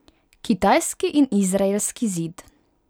Kitajski in izraelski zid.